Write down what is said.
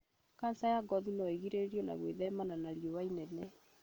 Kanja ya ngothi noĩrigĩrĩrio na gwĩthemana na riũa inene